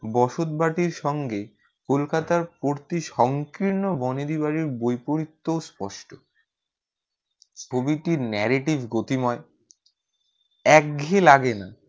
বসতবাটির সঙ্গে কলকাতার প্রতি সংকীর্ণ বনেদি বাড়ির বৈপরিত্যও স্পষ্ট। প্রতিটি narrative গতিময় একঘেয়ে লাগে না।